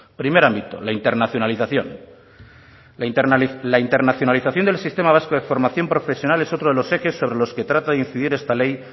primer ámbito la internacionalización la internacionalización del sistema vasco de formación profesional es otro de los ejes sobre los que trata de incidir esta ley